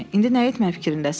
İndi nə etmək fikrindəsən?